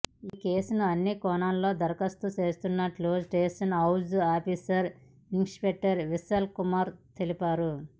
ఈ కేసును అన్ని కోణాల్లో దర్యాప్తు చేస్తున్నట్లు station house officer inspector Vishal Kumar తెలిపారు